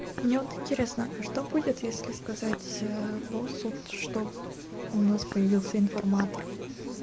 мне вот интересно а что будет если сказать а боссу что у нас появился информатор